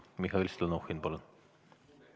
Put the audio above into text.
Mihhail Stalnuhhin, palun!